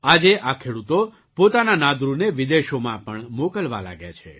આજે આ ખેડૂતો પોતાના નાદરુને વિદેશોમાં પણ મોકલવા લાગ્યા છે